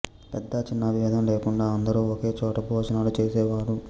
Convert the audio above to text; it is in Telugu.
పెద్ద చిన్న భేదం లేకుండా అందరూ ఒకే చోట భోజనాలు చేసేవారు